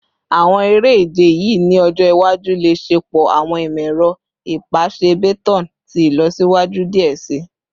Awọn ere-ije yii ni ọjọ iwaju le ṣepọ awọn imọ-ẹrọ ipasẹ baton ti ilọsiwaju diẹ sii